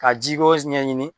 Ka ji ɲɛɲini.